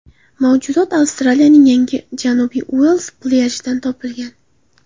Mavjudot Avstraliyaning Yangi Janubiy Uels plyajidan topilgan.